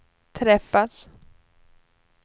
träffas